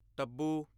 Tabu